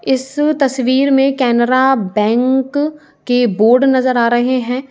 इस तस्वीर में कैनरा बैंक के बोर्ड नजर आ रहे हैं।